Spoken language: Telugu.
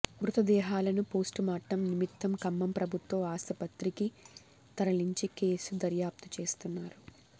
మృతదేహాలను పోస్టుమార్టం నిమిత్తం ఖమ్మం ప్రభుత్వ ఆసుపత్రికి తరలించి కేసు దర్యాప్తు చేస్తున్నారు